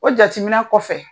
O jatiminɛ kɔfɛ.